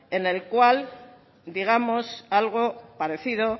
en el cual digamos algo parecido